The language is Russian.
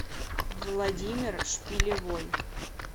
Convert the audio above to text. владимир шпилевой